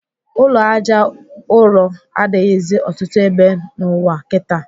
Ụlọ Àjà ụrọ adịghịzị ọtụtụ ebe n'ụwa kịta